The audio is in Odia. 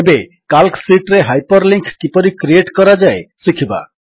ଏବେ କାଲ୍କ ଶୀଟ୍ ରେ ହାଇପରଲିଙ୍କ୍ କିପରି କ୍ରିଏଟ୍ କରାଯାଏ ଶିଖିବା